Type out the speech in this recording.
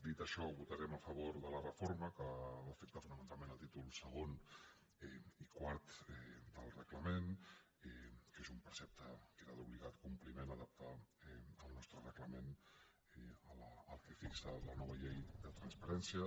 dit això votarem a favor de la reforma que afecta fonamentalment els títols segon i quart del reglament que és un precepte que era d’obligat compliment adaptar el nostre reglament al que fixa la nova llei de transparència